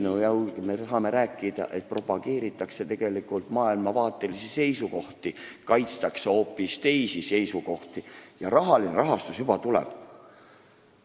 Muidugi me tahame rääkida, et tegelikult propageeritakse maailmavaatelisi seisukohti, kaitstakse hoopis teisi seisukohti, ja rahastus juba tuleb.